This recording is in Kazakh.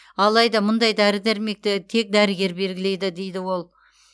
алайда мұндай дәрі дәрмекті тек дәрігер белгілейді дейді ол